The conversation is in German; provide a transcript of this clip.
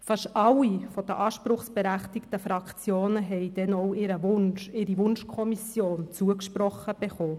Fast alle der anspruchsberechtigten Fraktionen haben ihre Wunschkommission zugesprochen bekommen.